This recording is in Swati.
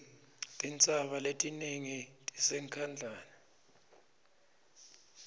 tintsaba letinengi tisenkhangala